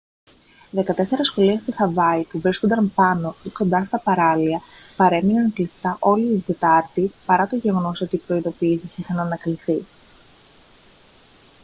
δεκατέσσερα σχολεία στη χαβάη που βρίσκονταν πάνω ή κοντά στα παράλια παρέμειναν κλειστά όλη την τετάρτη παρά το γεγονός ότι οι προειδηποιήσεις είχαν ανακληθεί